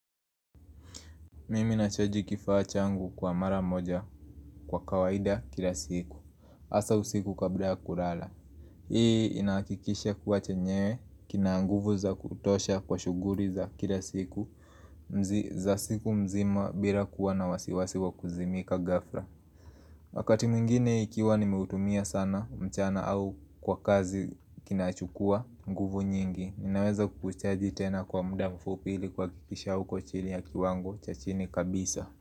Mimi nachaji kifaa changu kwa mara moja kwa kawaida kila siku hasa usiku kabla kulala Hii inahakikisha kuwa chenyewe kina nguvu za kutosha kwa shughuli za kila siku Mzi za siku mzima bila kuwa na wasiwasi wa kuzimika ghafla Wakati mwingine ikiwa nimeutumia sana mchana au kwa kazi kinachukua nguvu nyingi naweza kukichaji tena kwa muda mfupi ili kuhakikisha hauko chini ya kiwango cha chini kabisa.